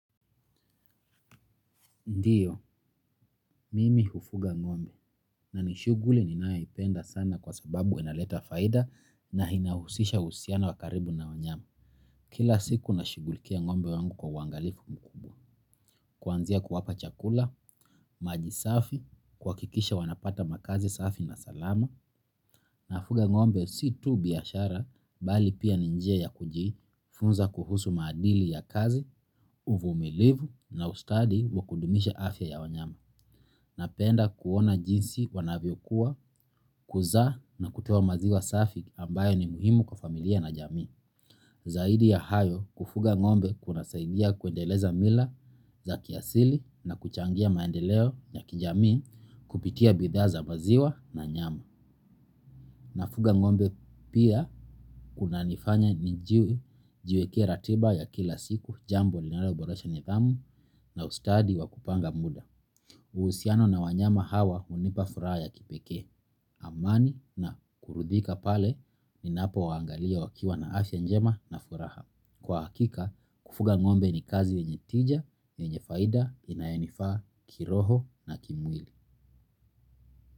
Ndiyo, mimi hufuga ngombe na nishughuli ninayoipenda sana kwa sababu inaleta faida na inahusisha uhusiano wa karibu na wanyama. Kila siku nashughulikia ngombe wangu kwa uangalifu kuanzia kuwapa chakula, maji safi, kuhakikisha wanapata makazi safi na salama, nafuga ngombe si tu biashara, bali pia ni njia ya kuji funza kuhusu madili ya kazi, uvumilivu na ustadi wa kudumisha afya ya wanyama. Napenda kuona jinsi wanavyo kuwa, kuzaa na kutoa maziwa safi ambayo ni muhimu kwa familia na jamii. Zaidi ya hayo kufuga ngombe kuna saidia kuendeleza mila za kiasili na kuchangia maendeleo ya kijamii kupitia bidhaa za maziwa na nyama. Na fuga ngombe pia kuna nifanya nijiwekee ratiba ya kila siku jambo linalo borosha nidhamu na ustadi wa kupanga muda. Uhusiano na wanyama hawa hunipa furaha ya kipekee, amani na kuridhika pale ni napo waangalia wakiwa na afya njema na furaha. Kwa hakika, kufuga ngombe ni kazi yenye tija, yenye faida, inayonifaa kiroho na kimwili.